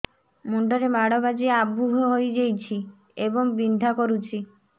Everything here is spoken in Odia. ମୁଣ୍ଡ ରେ ମାଡ ବାଜି ଆବୁ ହଇଯାଇଛି ଏବଂ ବିନ୍ଧା କରୁଛି